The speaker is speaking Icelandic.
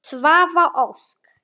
Svava Ósk.